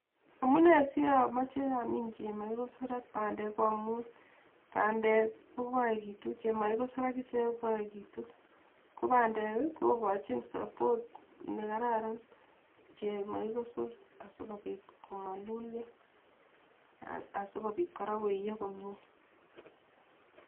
Amune si amoche amiin chemokikosor ak pandeek ko amun pandeek kokageitu, chemakikosor akichek kokageitu ko pandeek kokachin support nekararan chemakikosor asikopiit komalulyo, asikopiit kora koiyoo komie